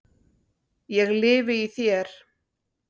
ég lifi í þér.